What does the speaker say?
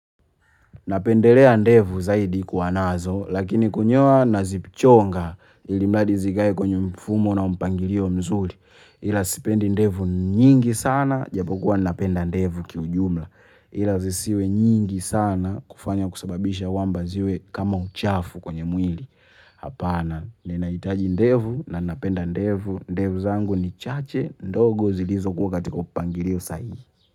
Napendelea ndevu zaidi kuwa nazo, lakini kunyoa nazichonga ilimradi zikae kwenye mfumo na mpangilio mzuri. Ila sipendi ndevu nyingi sana, ijapokuwa napenda ndevu kiujumla. Ila zisiwe nyingi sana kufanya kusababisha kwamba ziwe kama uchafu kwenye mwili. Hapana, ninahitaji ndevu na napenda ndevu. Ndevu zangu ni chache ndogo zilizokuwa katika upangilio sahihi.